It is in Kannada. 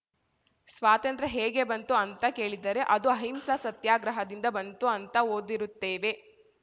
ಸ್ವಾತಂತ್ರ್ಯ ಹೇಗೆ ಬಂತು ಅಂತ ಕೇಳಿದರೆ ಅದು ಅಹಿಂಸಾ ಸತ್ಯಾಗ್ರಹದಿಂದ ಬಂತು ಅಂತ ಓದಿರುತ್ತೇವೆ